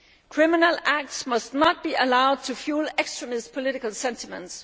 Criminal acts must not be allowed to fuel extremist political sentiments.